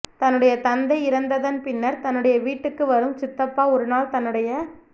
தன்னுடைய தந்தை இறந்ததன் பின்னர் தன்னுடைய வீட்டுக்கு வரும் சித்தப்பா ஒருநாள் தன்னுடைய